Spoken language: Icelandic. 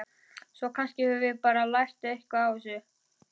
Svo kannski höfum við bara lært eitthvað á þessu.